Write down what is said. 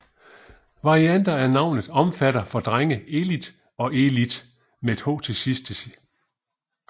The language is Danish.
Varianter af navnet omfatter for drenge Elit og Elith